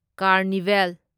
carnival